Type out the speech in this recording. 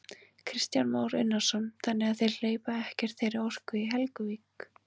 Kristján Már Unnarsson: Þannig að þeir hleypa ekkert þeirri orku í Helguvík?